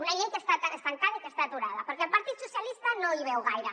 una llei que està estancada i que està aturada perquè el partit socialista no hi veu gaire